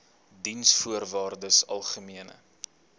diensvoorwaardesalgemene